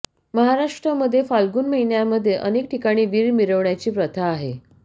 महाराष्ट्रामध्ये फाल्गुन महिन्यामध्ये अनेक ठिकाणी वीर मिरविण्याची प्रथा आहे